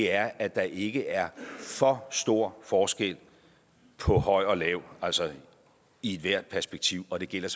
er at der ikke er for stor forskel på høj og lav altså i ethvert perspektiv og det gælder